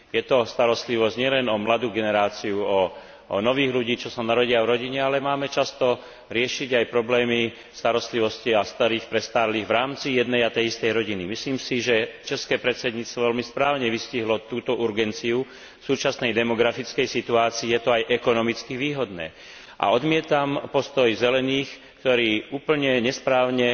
Je to starostlivosť nielen o mladú generáciu, o nových ľudí, čo sa narodia v rodine, ale máme často riešiť aj problémy starostlivosti o starších ľudí v rámci jednej a tej istej rodiny. Myslím si, že české predsedníctvo veľmi správne vystihlo túto urgentnosť súčasnej demografickej situácie je to aj ekonomicky výhodné a odmietam postoj Zelených, ktorí úplne nesprávne